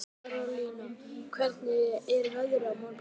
Marólína, hvernig er veðrið á morgun?